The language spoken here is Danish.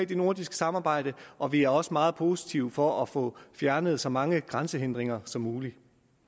det nordiske samarbejde og vi er også meget positive over for at få fjernet så mange grænsehindringer som muligt